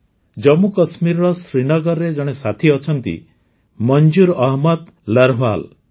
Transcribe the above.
ଜାମ୍ମୁକାଶ୍ମୀରର ଶ୍ରୀନଗରରେ ଜଣେ ସାଥୀ ଅଛନ୍ତି ମଞ୍ଜୁର ଅହମଦ ଲର୍ହୱାଲ୍